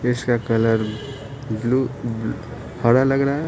इसका colour blue हरा लग रहा है।